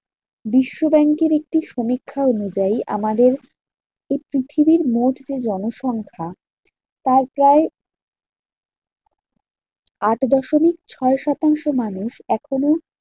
বিশ্বব্যাঙ্কের একটি সমীক্ষা অনুযায়ী আমাদের এই পৃথিবীর মোট যে জনসংখ্যা তার প্রায় আট দশমিক ছয় শতাংশ মানুষ এখনো